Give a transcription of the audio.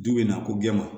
Du bɛ na ko gɛn ma